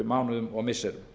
mánuðum og missirum